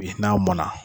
Bi n'a mɔnna